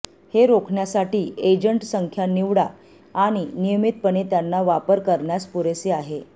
हे रोखण्यासाठी एजंट संख्या निवडा आणि नियमितपणे त्यांना वापर करण्यास पुरेसे आहे